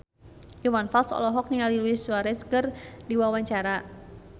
Iwan Fals olohok ningali Luis Suarez keur diwawancara